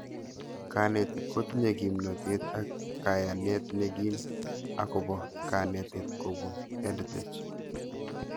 Kanetik kotinye kimnatet ak kayanet nekim akopo kanete kopun EdTech